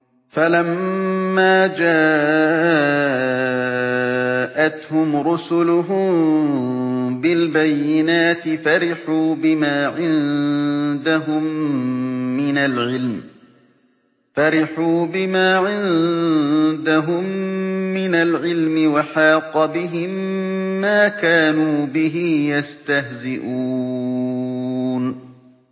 فَلَمَّا جَاءَتْهُمْ رُسُلُهُم بِالْبَيِّنَاتِ فَرِحُوا بِمَا عِندَهُم مِّنَ الْعِلْمِ وَحَاقَ بِهِم مَّا كَانُوا بِهِ يَسْتَهْزِئُونَ